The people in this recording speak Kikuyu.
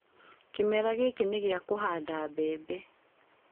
Kĩmera gĩkĩ nĩ gĩa kũhanda mbembe.